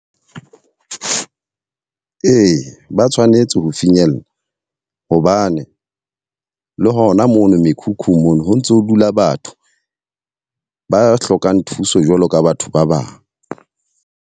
Ee, ba tshwanetse ho finyella. Hobane le hona mono mekhukhung mono ho ntso dula batho ba hlokang thuso jwalo ka batho ba bang.